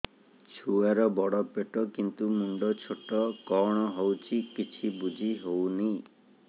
ଛୁଆର ପେଟବଡ଼ କିନ୍ତୁ ମୁଣ୍ଡ ଛୋଟ କଣ ହଉଚି କିଛି ଵୁଝିହୋଉନି